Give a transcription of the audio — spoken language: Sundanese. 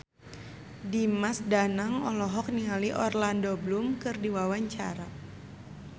Dimas Danang olohok ningali Orlando Bloom keur diwawancara